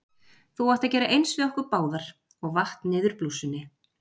Þú átt að gera eins við okkur báðar- og vatt niður blússunni.